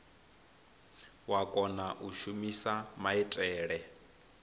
wa kona u shumisa maitele